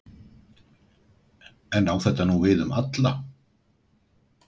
En á þetta nú við um alla?